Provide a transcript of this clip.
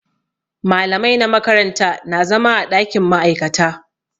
Malamai na makaranta na zama a ɗakin ma'aikata.